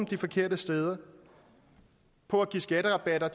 de forkerte steder på at give skatterabatter